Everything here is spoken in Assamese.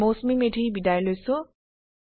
মই মৌচুমী মেধি বিদায় লৈছো